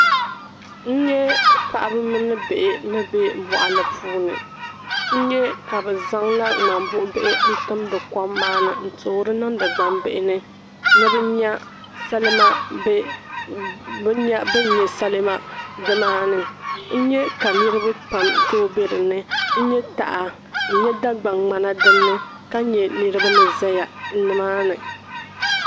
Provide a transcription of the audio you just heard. N-nye paɣaba mini bihi ni be mɔɣuli puuni n-nye ka bɛ zaŋ ŋmambuɣ'bihi n-timdi kom maani n-toori niŋdi gbambihi ni ni bɛ nya salima be ni nya bini nya salima di maani n-nya ka niriba pam tooi be dinni n-nye taha ni Dagban'ŋmana dinni ka nye niriba ni zaya nimaani.